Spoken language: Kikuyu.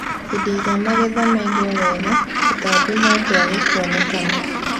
Hĩndĩ ĩrĩa magetha maigwo wega, tũtambi no twage kwonekana